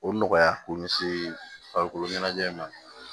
O nɔgɔya k'o ɲɛsin farikolo ɲɛnajɛ in ma